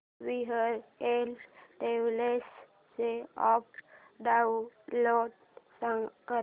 VRL Travels चा app download कर